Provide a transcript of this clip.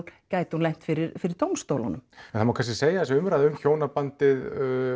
gæti hún lent fyrir fyrir dómstólum en það má kannski segja að þessi umræða um hjónabandið